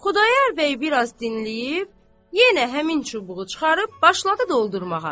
Xudayar bəy biraz dinləyib, yenə həmin çubuğu çıxarıb başladı doldurmağa.